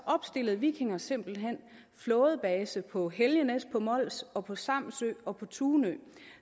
opstillede vikinger simpelt hen flådebaser på helgenæs på mols og på samsø og på tunø